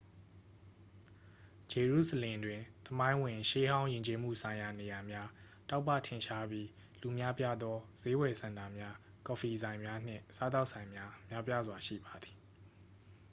ဂျေရုဆလင်တွင် သမိုင်းဝင် ရှေးဟောင်း ယဉ်ကျေးမှုဆိုင်ရာနေရာများ တောက်ပထင်ရှားပြီး လူများပြားသော စျေးဝယ်စင်တာများ ကော်ဖီဆိုင်များ နှင့် စားသောက်ဆိုင်များ များပြားစွာရှိပါသည်